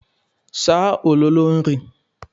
Saa ololo nri.